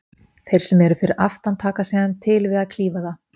Þeir sem eru fyrir aftan taka síðan til við að klífa það.